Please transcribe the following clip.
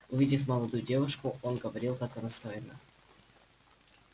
увидев молодую девушку он говорил как она стройна